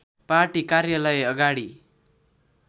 party कार्यालय अगाडि